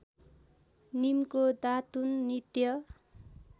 नीमको दातुन नित्य